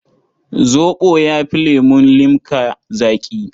Zoɓo ya fi lemun limka zaƙi.